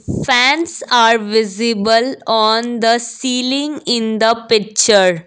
fans are visible on the ceiling in the picture.